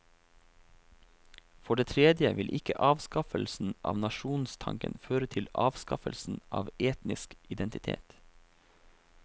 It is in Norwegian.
For det tredje vil ikke avskaffelsen av nasjonstanken føre til avskaffelsen av etnisk identitet.